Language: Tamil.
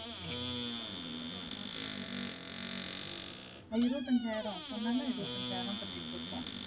இருபத்து ஐஞ்சாயிரம் சொன்னல இருபத்து ஐசாயிரம் கட்டிட்டு இருக்கோம்.